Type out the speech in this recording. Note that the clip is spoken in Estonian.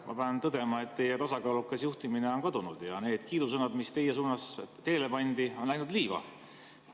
Ma pean tõdema, et teie tasakaalukas juhtimine on kadunud ja need kiidusõnad, mis teie suunas teele pandi, on jooksnud liiva.